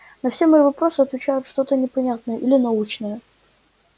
на все мои вопросы отвечает что-то непонятное или научное